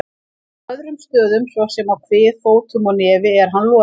Á öðrum stöðum, svo sem á kvið, fótum og nefi er hann loðinn.